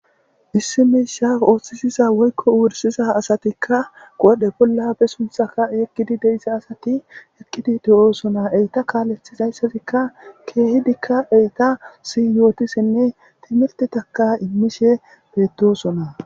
issi misha ooththisiza woykko uwursiza asatikka godhe bolla be sunthaka yeqkidi deyssa asati eqqidi de7oosona eyta kaalethizayssatikka keehidikka eyta si yootisinne timirtitaka immishe beettosona